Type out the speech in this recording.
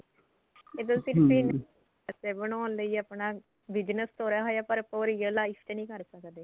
ਇਹ ਤਾਂ ਸਿਰਫ famous ਹੋਣ ਲੈ ਆਪਣਾ business ਤੋਰਿਆ ਹੋਇਆ ਪਰ ਆਪਾਂ ਉਹ real life ਚ ਨੀਂ ਕੇ ਸਕਦੇ